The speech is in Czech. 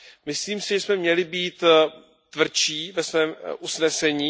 Myslím si, že jsme měli být tvrdší ve svém usnesení.